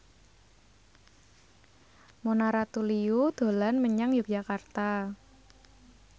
Mona Ratuliu dolan menyang Yogyakarta